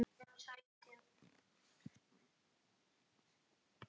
Hvað var hún að segja?